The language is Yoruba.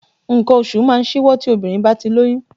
Nǹkan oṣù máa ń ṣíwọ́ tí obìnrin bá ti lóyún